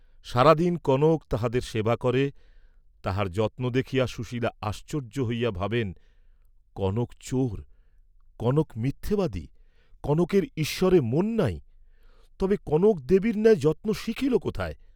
সারাদিন কনক তাঁহার সেবা করে; তাহার যত্ন দেখিয়া সুশীল আশ্চর্য্য হইয়া ভাবেন কনক চোর, কনক মিথ্যাবাদী, কনকের ঈশ্বরে মন নাই, তবে কনক দেবীর ন্যায় যত্ন শিখিল কোথায়?